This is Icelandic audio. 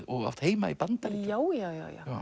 og átt heima í Bandaríkjunum já já